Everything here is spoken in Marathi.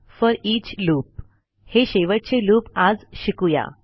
फोरिच लूप हे शेवटचे लूप आज शिकू या